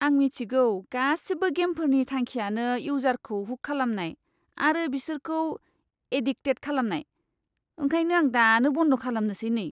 आं मिथिगौ गासिबो गेमफोरनि थांखियानो इउजारखौ हुक खालामनाय आरो बिसोरखौ एडिक्टेट खालामनाय। ओंखायनो आं दानो बन्द खालामनोसै नै!